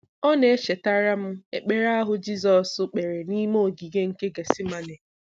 Ọ na-echetara m ekpere ahụ Jizọs kpere n'ime Ogige nke Gethsemane.